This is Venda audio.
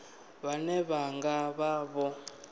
vhane vha nga vha vho